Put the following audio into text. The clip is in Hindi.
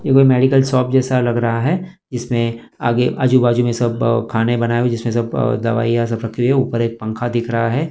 ये कोई मेडिकल शॉप जैसा लग रहा है जिसमें आगे आजू बाजू में सब खाने बनाए हुए जिसमें सब दवाइयां सब रखी हुई हैं ऊपर एक पंखा दिख रहा है।